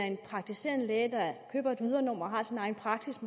en praktiserende læge der køber et ydernummer og har sin egen praksis